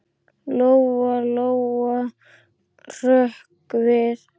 Lóa-Lóa hrökk við.